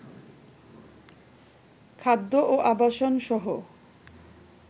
খাদ্য ও আবাসনসহ